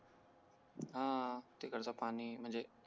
हां तिकडचं पाणी म्हणजे